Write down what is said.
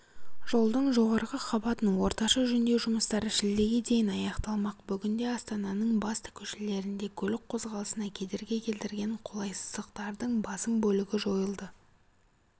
жолдың жоғарғы қабатын орташа жөндеу жұмыстары шілдеге дейін аяқталмақ бүгінде астананың басты көшелерінде көлік қозғалысына кедергі келтірген қолайсыздықтардың басым бөлігі жойылды